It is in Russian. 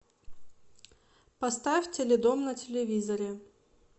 поставь теледом на телевизоре